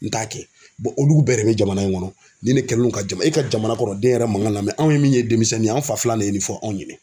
N t'a kɛ olu bɛɛ de bɛ jamana in kɔnɔ nin de kɛlen do ka jama e ka jamana kɔnɔ den yɛrɛ man kan ka lamɛ anw min ye denmisɛnnin ye an fa filan de fɔ anw ɲɛnɛ.